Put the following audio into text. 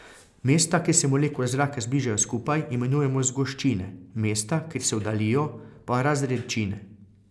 Mesta, kjer se molekule zraka zbližajo skupaj, imenujemo zgoščine, mesta, kjer se oddaljijo, pa razredčine.